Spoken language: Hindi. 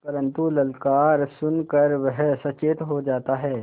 परन्तु ललकार सुन कर वह सचेत हो जाता है